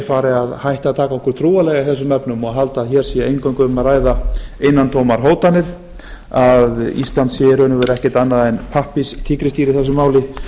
fari að hætta að taka okkur trúanlega í þessum efnum og halda að hér sé eingöngu um að ræða innantómar hótanir að ísland sé í raun og veru ekkert annað en pappírstígrisdýr í þessu máli